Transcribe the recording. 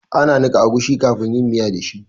Ana niƙa agushi kafin yin miya da shi